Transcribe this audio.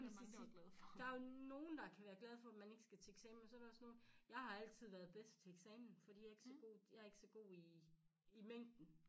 Jeg vil så sige der er nogen der kan være glade for at man ikke skal til eksamen men så er der også nogen jeg har altid været bedst til eksamen fordi jeg er ikke så god jeg er ikke så god i i mængden